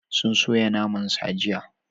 Sun soya naman sa jiya.